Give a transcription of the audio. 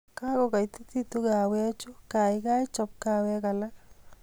Kagogaitititu kaawekchu gaigai chop kaawek alak